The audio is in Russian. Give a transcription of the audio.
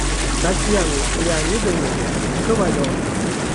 татьяной леонидовной ковалевой